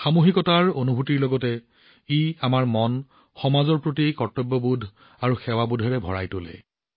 সামূহিকতাৰ অনুভূতিৰ লগতে ই আমাক সমাজৰ প্ৰতি কৰ্তব্যবোধ আৰু সেৱাবোধেৰে ভৰাই তোলে